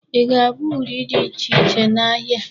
Ị ga-abụ uri dị ichè iche n"ahịa.a.